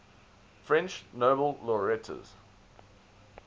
french nobel laureates